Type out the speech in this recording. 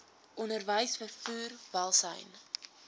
onderwys vervoer welsyn